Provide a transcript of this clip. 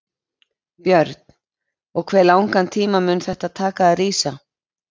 Björn: Og hve langan tíma mun þetta taka að rísa?